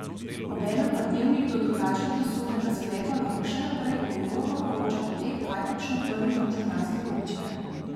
Obenem pa Dnevnik do drugačnega sodnega sklepa lahko še naprej odgovorno poroča o tem, kaj počne prvi mož kranjske občine.